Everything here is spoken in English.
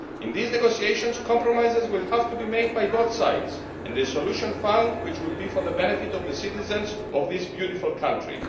In these negotiations, compromises will have to be made by both sides and a solution found which will be for the benefit of the citizens of this beautiful country.